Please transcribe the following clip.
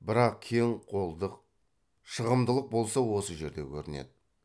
бірақ кең қолдық шығымдылық болса осы жерде көрінеді